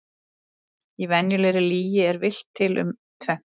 Í venjulegri lygi er villt til um tvennt.